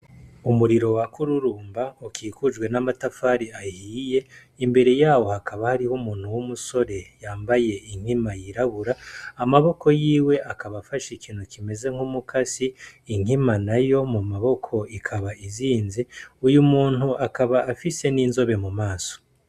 Umuriro waka ururumba ukikujwe namatafari ahiye imbere yaho hakaba hari umuntu w’umusore yambaye inkima yirabura amaboko yiwe akaba afashe ikintu kimeze nkumukasi inkima nayo mumaboko ikaba izinze uyu muntu akaba afise ninzobe mumaso